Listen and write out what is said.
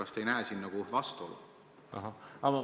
Kas te ei näe siin vastuolu?